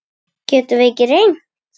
Getum við ekki reynt?